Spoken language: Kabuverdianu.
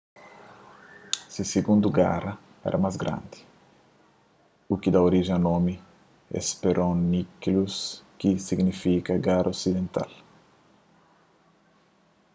se sigundu gara éra más grandi u ki da orijen a nomi hesperonychus ki ta signifika gara osidental